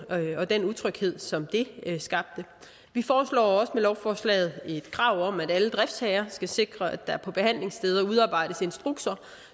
og den utryghed som det skabte vi foreslår også med lovforslaget et krav om at alle driftsherrer skal sikre at der på behandlingssteder udarbejdes instrukser